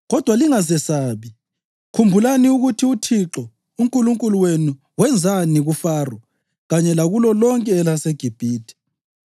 Kodwa lingazesabi; khumbulani ukuthi uThixo uNkulunkulu wenu wenzani kuFaro kanye lakulo lonke elaseGibhithe.